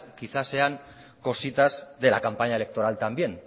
quizás sean cositas de la campaña electoral también